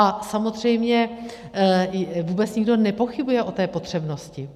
A samozřejmě vůbec nikdo nepochybuje o té potřebnosti.